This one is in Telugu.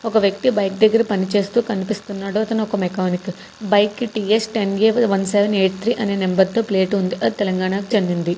ఒక వ్యక్తి బైక్ దగ్గర పని చేస్తూ కనిపిస్తున్నాడు అతను ఒక మెకానిక్ బైక్ కి TS ten A one seven eight three అని నంబర్ ప్లేట్ ఉంది అది తెలంగాణకు చెందింది.